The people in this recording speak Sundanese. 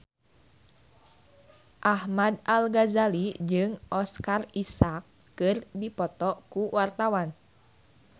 Ahmad Al-Ghazali jeung Oscar Isaac keur dipoto ku wartawan